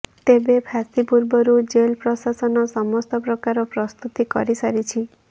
ତେବେ ଫାଶୀ ପୂର୍ବରୁ ଜେଲ ପ୍ରଶାସନ ସମସ୍ତ ପ୍ରକାର ପ୍ରସ୍ତୁତି କରିସାରିଛି